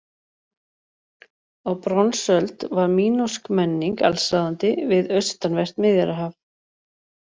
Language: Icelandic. Á bronsöld var mínósk menning allsráðandi við austanvert Miðjarðarhaf.